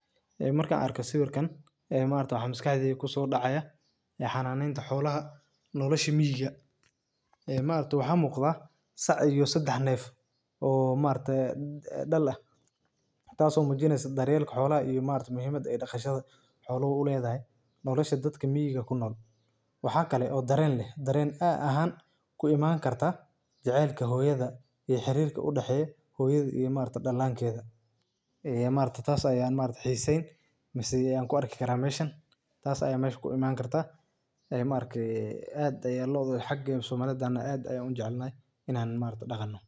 Ee markan aarke sawirkan maxa maskax dheydha kusodacaya xananinta xoolaha nolosha miiyga maxa muqdha saac iyo sadax neef dhal aah taso mujineyso dharyelka xoolaha muhimada dhaqashadha xoluhu uledhahay nolosha dadka miiyga kunool maxa kale oo Daren leeh Daren aahan kuiman karta jecelka hooyadha ee xirrka udaxeyo hoyadha iyo dalankeydha taas Aya xisen leeh Ayan kuarki Kara tas Aya meshan kuiman karta hadan somali nahne aad Aya ujecelnahy inan loodha daqanno